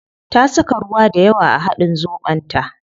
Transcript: Ta saka ruwa dayawa a hadin zobon ta